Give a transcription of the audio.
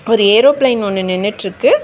ஒரு ஏரோப்ளேன் ஒன்னு நின்னுட்டு இருக்கு.